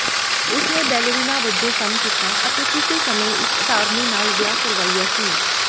ਉਸ ਨੇ ਬੈਲੇਰੀਨਾ ਵਜੋਂ ਕੰਮ ਕੀਤਾ ਅਤੇ ਕਿਸੇ ਸਮੇਂ ਇੱਕ ਅਟਾਰਨੀ ਨਾਲ ਵਿਆਹ ਕਰਵਾਇਆ ਸੀ